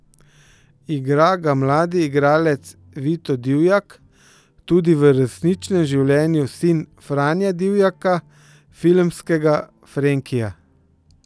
Igra ga mladi igralec Vito Dijak, tudi v resničnem življenju sin Franja Dijaka, filmskega Frenkija.